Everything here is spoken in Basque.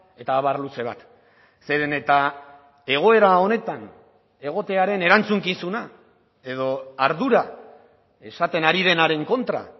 eta abar luze bat zeren eta egoera honetan egotearen erantzukizuna edo ardura esaten ari denaren kontra